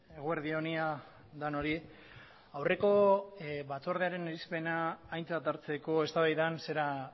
eguerdi on ia denoi aurreko batzordearen irizpena aintzat hartzeko eztabaidan zera